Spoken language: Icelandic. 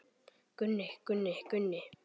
Gunni, Gunni, Gunni.